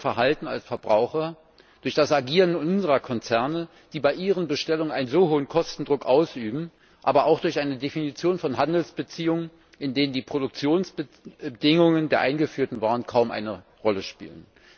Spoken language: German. Durch unser Verhalten als Verbraucher, durch das Agieren unserer Konzerne, die bei ihren Bestellungen einen so hohen Kostendruck ausüben, aber auch durch eine Definition von Handelsbeziehungen, in denen die Produktionsbedingungen der eingeführten Waren kaum eine Rolle spielen.